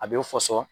A bɛ fɔsɔn